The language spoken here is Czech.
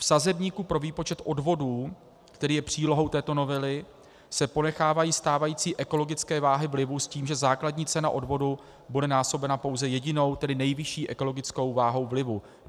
V sazebníku pro výpočet odvodů, který je přílohou této novely, se ponechávají stávající ekologické váhy vlivu s tím, že základní cena odvodu bude násobena pouze jedinou, tedy nejvyšší ekologickou váhou vlivu.